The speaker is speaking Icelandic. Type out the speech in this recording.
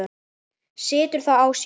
Situr þó á sér.